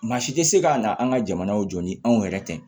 Maa si tɛ se ka na an ka jamanaw jɔ ni anw yɛrɛ tɛ